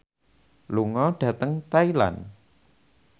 lunga dhateng Thailand